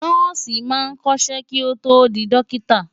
Nọ́ọ̀sì máa kọ́ṣẹ́ kí ó tó di dọ́kítà.